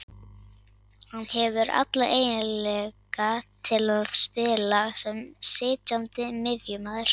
Hann hefur alla eiginleika til að spila sem sitjandi miðjumaður